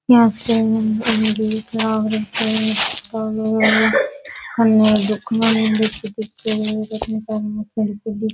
यहाँ पे --